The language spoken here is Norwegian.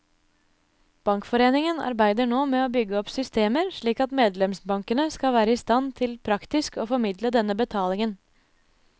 Bankforeningen arbeider nå med å bygge opp systemer slik at medlemsbankene skal være i stand til praktisk å formidle denne betalingen.